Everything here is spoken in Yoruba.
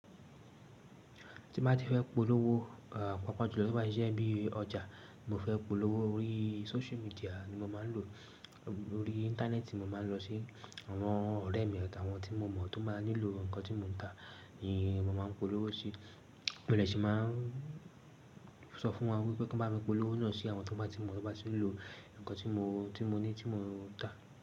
Tí bá ti fẹ́ polówó, pàápàá jùlọ tí ó bá ti je bí ọjà, mo fẹ́ polówó orí social media ni mo máa ń lò. Orí Íńtánẹ́ẹ̀tì mo máa ń lọ sí àwọn ọ̀rẹ́ mi, àwọn tí mo mọ̀ tó máa nílò nǹkan tí mo ń tà ni mo máa ń polówó sí. Mo de ṣé máa ń sọ fún wọn wípé kí wọ́n bá mi polówó náà sí àwọn tó bá ti mọ̀, tó bá tì ń lò nǹkan tí mo ni, tí mo ní, tí mo ń tà.